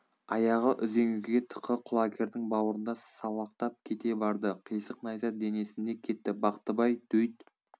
аяғы үзеңгіге тықы құлагердің бауырында салақтап кете барды қисық найза денесінде кетті бақтыбай дөйт